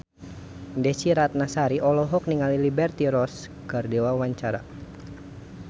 Desy Ratnasari olohok ningali Liberty Ross keur diwawancara